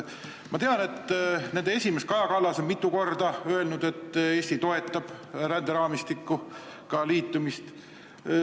Ma tean, et nende esimees Kaja Kallas on mitu korda öelnud, et Eesti toetab ränderaamistikuga liitumist.